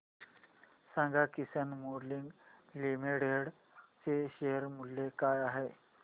सांगा Kisan moulding limited चे share मूल्य काय आहे